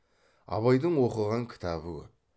абайдың оқыған кітабы көп